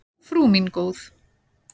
Frú mín góð.